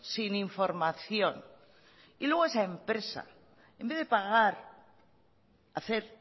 sin información y luego esa empresa en vez de pagar hacer